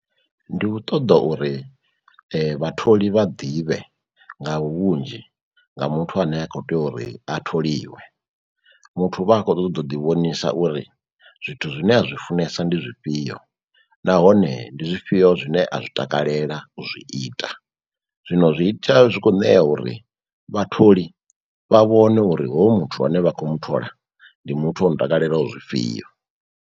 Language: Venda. Ndi u ṱoḓa uri vhatholi vha ḓivhe nga vhunzhi nga muthu ane a kho tea uri a tholiwe. Muthu u vha a khou ṱoḓa u ḓi vhonisa uri zwithu zwine a zwi funesa ndi zwifhio nahone ndi zwifhio zwine a zwi takalela u zwi ita, zwino zwi ita zwi kho ṋea uri vhatholi vha vhone uri hoyu muthu ane vha khou mu thola ndi muthu ono takalela zwifhio.